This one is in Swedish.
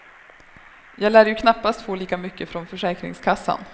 Jag lär ju knappast få lika mycket från försäkringskassan.